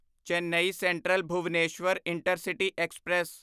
Chennai central Bhubaneswar intercity express